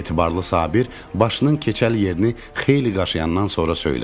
Etibarlı Sabir başının keçəl yerini xeyli qaşıyandan sonra söylədi: